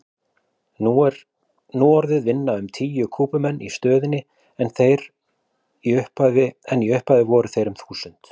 Nú orðið vinna um tíu Kúbumenn í stöðinni en í upphafi voru þeir um þúsund.